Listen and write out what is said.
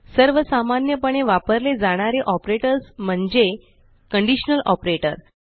सर्व सामान्य पणे वापरले जाणारे ऑपरेटर्स म्हणजे कंडिशनल ऑपरेटर